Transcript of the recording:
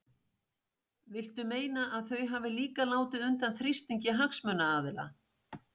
Viltu meina að þau hafi líka látið undan þrýstingi hagsmunaaðila?